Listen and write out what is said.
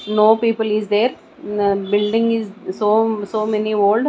no people is there building is so so many old.